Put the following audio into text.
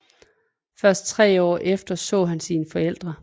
Først tre år efter så han sine forældre